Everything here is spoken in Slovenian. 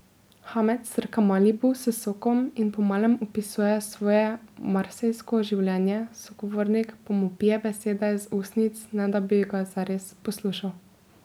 Hamed srka malibu s sokom in po malem opisuje svoje marsejsko življenje, sogovornik pa mu pije besede z ustnic, ne da bi ga zares poslušal.